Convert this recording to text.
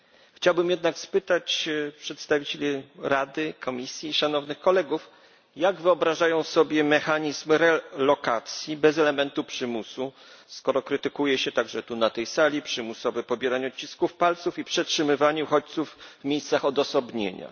Chciałbym jednak spytać przedstawicieli Rady, Komisji i szanownych kolegów, jak wyobrażają sobie mechanizm realokacji bez elementu przymusu, skoro krytykuje się także tu na tej sali przymusowe pobieranie odcisków palców i przetrzymywanie uchodźców w miejscach odosobnienia.